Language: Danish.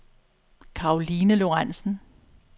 Caroline Lorentzen